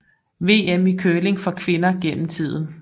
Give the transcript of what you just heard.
VM i curling for kvinder gennem tiden